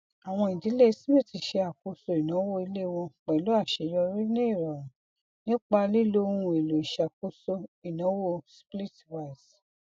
àwọn ìdílé smith ṣe àkóso ináwó ilé wọn pẹlú aṣeyọrí ní irọrún nípa lílo ohun èlò ìṣàkóso ináwó splitwise